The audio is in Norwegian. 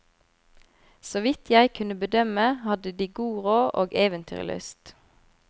Så vidt jeg kunne bedømme, hadde de god råd og eventyrlyst.